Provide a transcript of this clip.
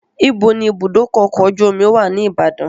Ibo ni ìbúdókọ̀ ọkọ̀ ojú omi wà ní Ìbàdàn?